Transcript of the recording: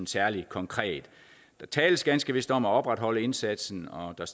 særlig konkret der tales ganske vist om at opretholde indsatsen og der